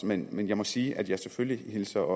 men men jeg må sige at jeg selvfølgelig hilser